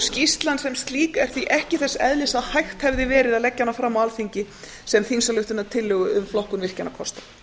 skýrslan sem slík er því ekki þess eðlis að hægt hefði verið að leggja hana fram á alþingi sem þingsályktunartillögu um flokkun virkjunarkosta